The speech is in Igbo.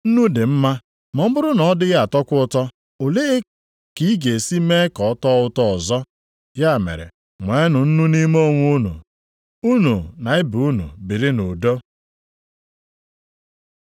“Nnu dị mma, ma ọ bụrụ na ọ dịghị atọkwa ụtọ, olee ka ị ga-esi mee ka ọ tọọ ụtọ ọzọ? Ya mere, nweenụ nnu nʼime onwe unu. Unu na ibe unu biri nʼudo.”